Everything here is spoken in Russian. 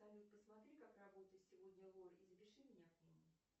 салют посмотри как работает сегодня лор и запиши меня к нему